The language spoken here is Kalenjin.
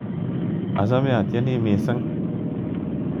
Achame atyeni missing'.